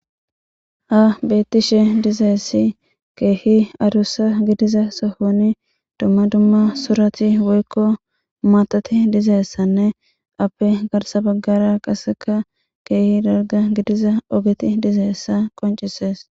Ha betishe dizaysa kehi adusa gidiza sohon dumma dumma surati woyko maatati dizaysanne appe garsa bagara qasekka kehi dalga gidiza ogeti dizaysa qoncises